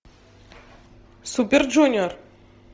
супер джуниор